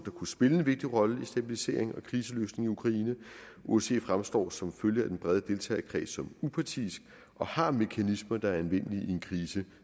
kunne spille en vigtig rolle med stabilisering og kriseløsning i ukraine osce fremstår som følge af den brede deltagerkreds som upartisk og har mekanismer der er anvendelige i en krise